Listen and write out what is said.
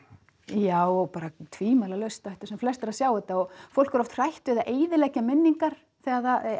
já bara tvimælalaust ættu sem flestir að sjá þetta fólk er oft hrætt við að eyðileggja minningar þegar það